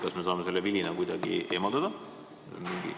Kas me saame selle vilina kuidagi eemaldada?